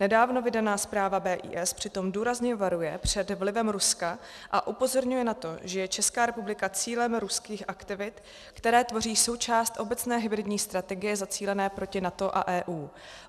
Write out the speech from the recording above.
Nedávno vydaná zpráva BIS přitom důrazně varuje před vlivem Ruska a upozorňuje na to, že je Česká republika cílem ruských aktivit, které tvoří součást obecné hybridní strategie zacílené proti NATO a EU.